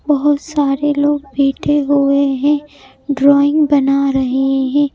बहुत सारे लोग बैठे हुए हैं ड्राइंग बना रहे हैं।